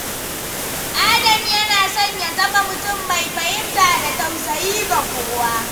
Adam yana son ya zama mutum mai fahimta da tausayi ga kowa.